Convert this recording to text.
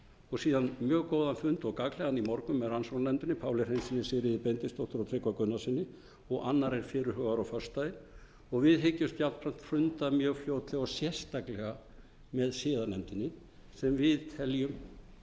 og síðan mjög góðan fund og gagnlegan í morgun með rannsóknarnefndinni páli hreinssyni sigríði benediktsdóttur og tryggva gunnarssyni og annar er fyrirhugaður á föstudaginn og við hyggjumst gjarnan funda mjög fljótlega og sérstaklega með siðanefndinni sem við teljum að feli í sér eða